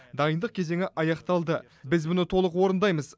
дайындық кезеңі аяқталды біз бұны толық орындаймыз